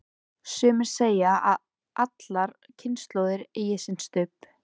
Sumir segja að allar kynslóðir eigi sinn Stubb.